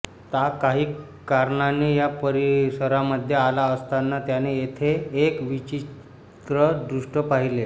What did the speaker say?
ता काही कारणाने या परिसरामध्ये आला असताना त्याने येथे एक विचित्र दृष्य पाहीले